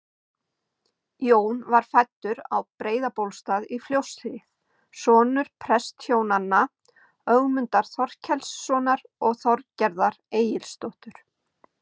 Jón var fæddur á Breiðabólstað í Fljótshlíð, sonur prestshjónanna Ögmundar Þorkelssonar og Þorgerðar Egilsdóttur.